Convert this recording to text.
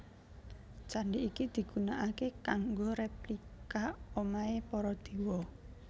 Candi iki digunaaké kanggo replika omahé para Dewa